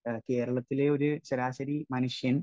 speaker 1 കേരളത്തിലെ ഒരു ശരാശരി മനുഷ്യൻ